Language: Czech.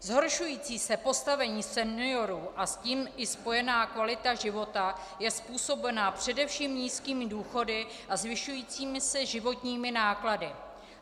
Zhoršující se postavení seniorů a s tím i spojená kvalita života je způsobena především nízkými důchody a zvyšujícími se životními náklady.